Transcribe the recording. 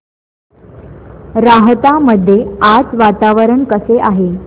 राहता मध्ये आज वातावरण कसे आहे